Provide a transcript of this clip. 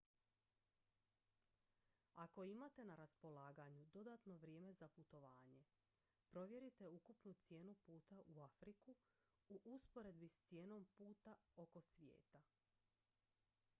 ako imate na raspolaganju dodatno vrijeme za putovanje provjerite ukupnu cijenu puta u afriku u usporedbi s cijenom puta oko svijeta